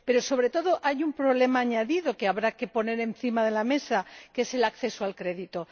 Pero, sobre todo, hay un problema añadido que habrá que poner encima de la mesa el acceso al crédito.